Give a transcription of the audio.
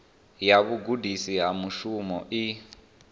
ya vhugudisi ha mushumo i